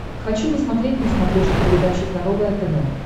хочу посмотреть на смотрешке передачу здоровое тв